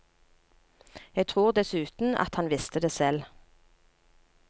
Jeg tror dessuten at han visste det selv.